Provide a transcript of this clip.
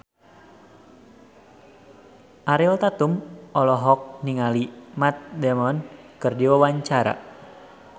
Ariel Tatum olohok ningali Matt Damon keur diwawancara